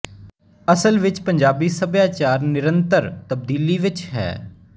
ਅਸਲ ਵਿੱਚ ਪੰਜਾਬੀ ਸੱਭਿਆਚਾਰ ਨਿਰੰਤਰ ਤਬਦੀਲੀ ਵਿੱਚ ਹੈ